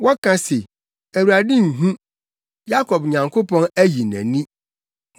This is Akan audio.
Wɔka se, “ Awurade nhu, Yakob Nyankopɔn ayi nʼani.”